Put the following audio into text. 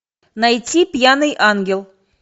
найти пьяный ангел